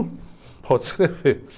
Pode escrever.